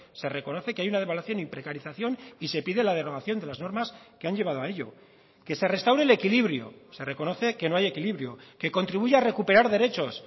se reconoce que hay una devaluación y precarización y se pide la derogación de las normas que han llevado a ello que se restaure el equilibrio se reconoce que no hay equilibrio que contribuya a recuperar derechos